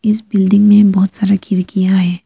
इस बिल्डिंग में बहुत सारा खिड़कियां हैं।